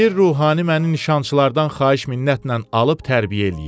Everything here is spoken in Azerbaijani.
Bir ruhani məni nişançılardan xahiş minnətlə alıb tərbiyə eləyib.